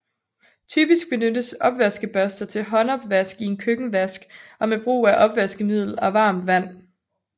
Typisk benyttes opvaskebørster til håndopvask i en køkkenvask og med brug af opvaskemiddel og varmt vand